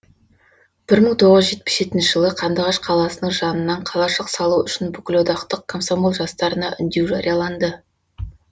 бір мың тоғыз жүз жетпіс жетінші жылы қандыағаш қаласының жанынан қалашық салу үшін бүкілодақтық комсомол жастарына үндеу жарияланды